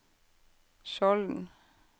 Skjolden